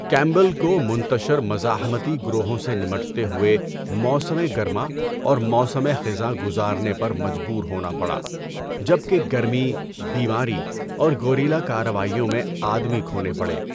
کیمبل کو منتشر مزاحمتی گروہوں سے نمٹتے ہوئے موسم گرما اور موسم خزاں گزارنے پر مجبور ہونا پڑا جبکہ گرمی، بیماری اور گوریلا کارروائیوں میں آدمی کھونے پڑے۔